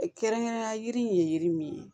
kɛrɛnkɛrɛnnenya la yiri ye yiri min ye